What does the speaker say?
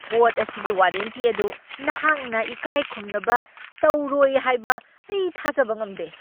ꯄꯣꯠ ꯑꯁꯤꯒꯤ ꯋꯥꯔꯦꯟꯇꯤ ꯑꯗꯨ ꯅꯍꯥꯛꯅ ꯏꯀꯥꯏꯈꯨꯝꯅꯕ ꯇꯧꯔꯣꯏ ꯍꯥꯏꯕ ꯑꯩ ꯊꯥꯖꯕ ꯉꯝꯗꯦ ꯫